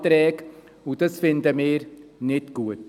Das finden wir nicht gut.